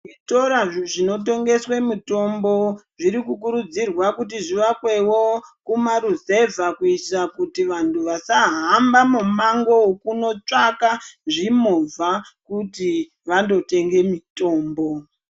Zvitora zvinotengeswe mitombo zvirikukurudzirwa kuti zvivakwewo kumaruzevha kuitira kuti vantu vasahamba mumango wekunotsvaka zvimovha kuti vandotenga mitombo.